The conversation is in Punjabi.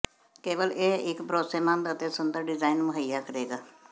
ਕੇਵਲ ਇਹ ਇੱਕ ਭਰੋਸੇਮੰਦ ਅਤੇ ਸੁੰਦਰ ਡਿਜ਼ਾਇਨ ਮੁਹੱਈਆ ਕਰੇਗਾ